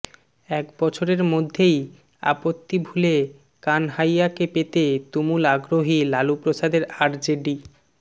এক বছরের মধ্যেই আপত্তি ভুলে কানহাইয়াকে পেতে তুমুল আগ্রহী লালু প্রসাদের আরজেডি